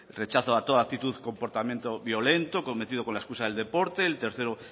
rechazo a toda actitud comportamiento violento cometido con la excusa del deporte el tercero